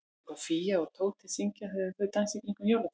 Veistu hvað Fía og Tóti syngja þegar þau dansa í kringum jólatréð?